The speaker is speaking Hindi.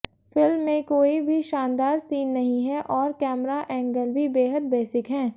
फिल्म में कोई भी शानदार सीन नही है और कैमरा एंगल भी बेहद बेसिक हैं